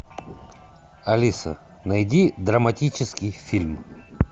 алиса найди драматический фильм